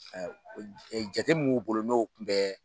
Jate min b'u bolo n'o tun bɛ